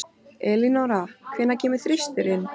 Elínora, hvenær kemur þristurinn?